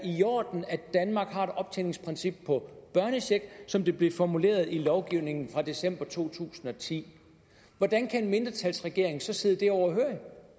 i orden at danmark har et optjeningsprincip på børnecheck som det blev formuleret i lovgivningen fra december to tusind og ti hvordan kan en mindretalsregering så sidde det overhørig